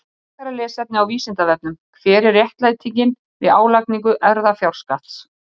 Frekara lesefni á Vísindavefnum: Hver er réttlætingin fyrir álagningu erfðafjárskatts?